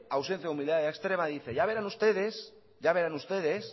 ausencia de humildad extrema dice ya verán ustedes ya verán ustedes